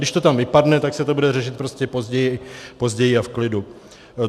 Když to tam vypadne, tak se to bude řešit prostě později a v klidu.